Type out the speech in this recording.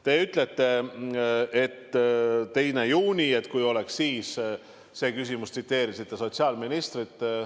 Te ütlete, et kui oleks see otsustatud 2. juunil, tsiteerisite sotsiaalministrit.